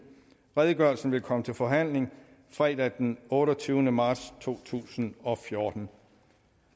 redegørelsen vil komme til forhandling fredag den otteogtyvende marts to tusind og fjorten